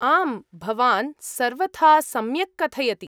आम्, भवान् सर्वथा सम्यक् कथयति।